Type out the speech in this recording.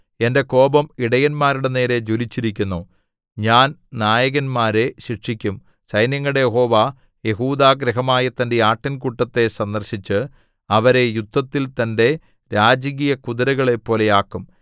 എന്റെ കോപം ഇടയന്മാരുടെ നേരെ ജ്വലിച്ചിരിക്കുന്നു ഞാൻ നായകന്മാരെ ശിക്ഷിക്കും സൈന്യങ്ങളുടെ യഹോവ യെഹൂദാഗൃഹമായ തന്റെ ആട്ടിൻകൂട്ടത്തെ സന്ദർശിച്ച് അവരെ യുദ്ധത്തിൽ തന്റെ രാജകീയകുതിരകളെ പോലെയാക്കും